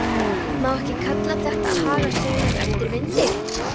Má ekki kalla þetta að haga seglum eftir vindi?